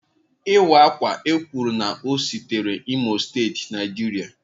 Iwa akwa ekwuru na o sitere imo state Nigeria.